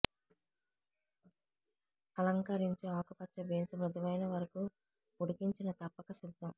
అలంకరించు ఆకుపచ్చ బీన్స్ మృదువైన వరకు ఉడికించిన తప్పక సిద్ధం